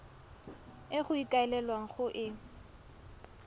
e go ikaelelwang go e